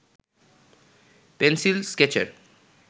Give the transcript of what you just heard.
pencil স্কেচের